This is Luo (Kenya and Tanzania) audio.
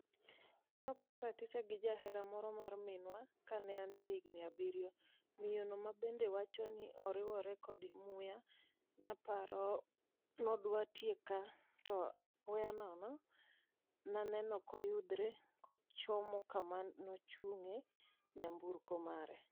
nenoketh raticha gi jahera moro achiel mar minwa kane an jahigni abirio, miyo no mabende wacho ni oriwore kod muya, naparo nodwa tieka to apoya nono naneno koyudhre kochomo kama nochunge nyamburko mare.